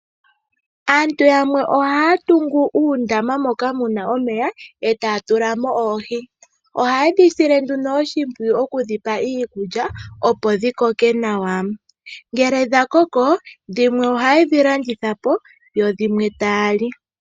Aantu yamwe ohaya tungu uundama moka muna omeya eta ya tula mo oohi. Ohayedhi sile oshimpwiyu okudhi pa iikulya opo dhi koke nawa. Ngele dha koko dhimwe ohaye dhi landitha po yo dhimwe taya li.